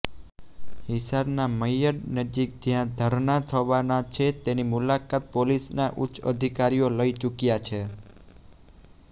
હિસારના મય્યડ નજીક જ્યાં ધરણા થવાના છે તેની મુલાકાત પોલીસના ઉચ્ચ અધિકારીઓ લઇ ચુક્યા છે